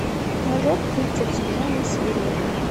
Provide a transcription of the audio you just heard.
мажор тридцать седьмая серия